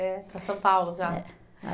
É, para São Paulo já.